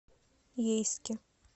ейске